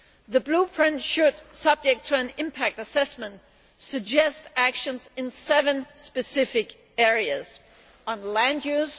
The Blueprint should, subject to an impact assessment, suggest actions in seven specific areas on land use